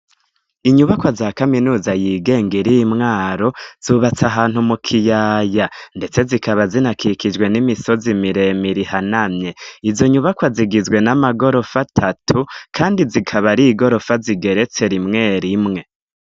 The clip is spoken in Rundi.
Inyubakwa za kaminuza yigenga iri Mwaro zubatse ahantu mu kiyaya ndetse zikaba zinakikijwe n'imisozi miremire ihanamye, izo nyubakwa zigizwe n'amagorofa atatu kandi zikaba ari igorofa zigeretse rimwe rimwe.